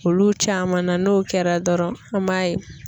Olu caman na n'o kɛra dɔrɔn an b'a ye.